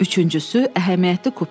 Üçüncüsü, əhəmiyyətli kupe.